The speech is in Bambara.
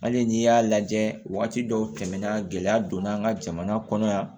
Hali n'i y'a lajɛ wagati dɔw tɛmɛna gɛlɛya donna an ka jamana kɔnɔ yan